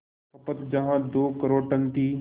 खपत जहां दो करोड़ टन थी